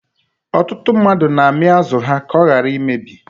Ọtụtụ mmadụ na-ami azụ ha ka ọ ghara imebi.